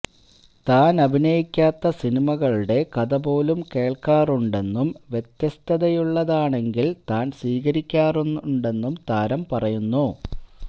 താന് അഭിനയിക്കാത്ത സിനിമകളുടെ കഥ പോലും കേള്ക്കാറുണ്ടെന്നും വ്യത്യസ്തതയുള്ളതാണെങ്കില് താന് സ്വീകരിക്കാറുണ്ടെന്നും താരം പറയുന്നു